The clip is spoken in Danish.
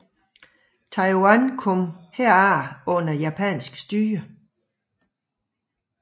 Taiwan kom herefter under japansk styre